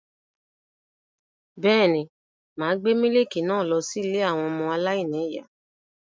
Bẹ́ẹ̀ ni, mà á gbé mílíkì náà lọ ilé àwọn ọmọ aláìníìyá.